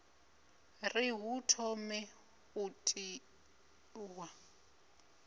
ri hu thome u tiwa